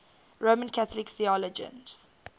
roman catholic theologians